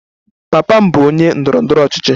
Papa m bụ onye ndọrọ ndọrọ ọchịchị.